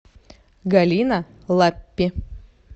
галина лаппи